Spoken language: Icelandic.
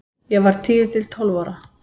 Ég var tíu til tólf ára.